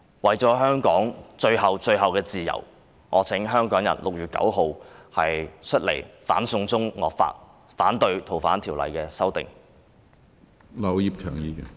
為了香港最後的自由，我請香港人在6月9日出來反"送中"惡法，反對《逃犯條例》的修訂。